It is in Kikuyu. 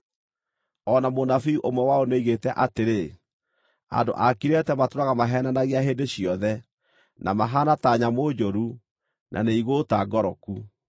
O na mũnabii ũmwe wao nĩoigĩte atĩrĩ, “Andũ a Kirete matũũraga maheenanagia hĩndĩ ciothe, na mahaana ta nyamũ njũru, na nĩ igũũta ngoroku.”